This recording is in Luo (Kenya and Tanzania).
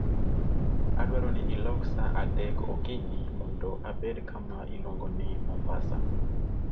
Adwaro ni ilok sa 3:00 okinyi mondo abed kama iluongo ni Mombasa